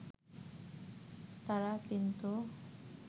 তারা কিন্তু